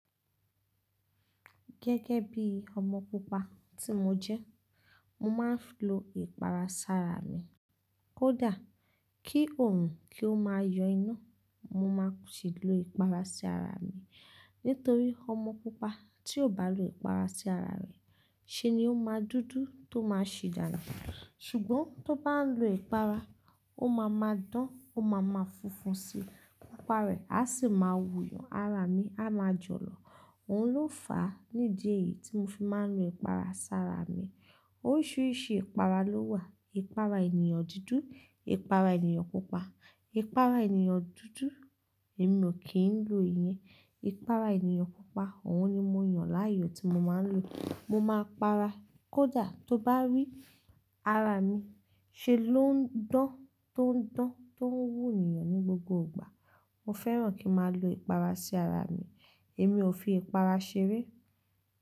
Gẹ́gẹ́ bí ọmọ pupa tí mo jẹ́, mo máa ń lo ìpara sára mi. Kódà kí òun kí ó máa yọ iná, mo máa sì lo ìpara sí ara mi. Nítorí ọmọ pupa tí ò bá lo ìpara sí ara rẹ̀, ṣé ni ó máa dúdú tó máa sì dànù. Ṣùgbọ́n tó bá ń lo ìpara, ó máa ma dán, ó máa ma funfun síi. Pupa rẹ̀ a sì máa wu yàn, ara mi a máa jọ̀lọ̀. Òun ló fàá nídi èyí tí mo fi máa ń lo ìpara sára mi. Oríṣiríṣi ìpara ló wà. Ìpara ènìyàn dúdú, ìpara ènìyàn pupa. Ìpara ènìyàn dúdú, èmi ò kí ń lo ìyẹn. Ìpara ènìyàn pupa, òun ni mo yàn láàyò tí mo máa ń lò. Mo máa para. Kódà tó bá rí ara mi, ṣé ló ń dán tó ń dán, tó ń wú ènìyàn ní gbogbo ìgbà. Mo fẹ́ràn kí a máa lo ìpara sí ara mi. Èmi ò fi ìpara ṣeré.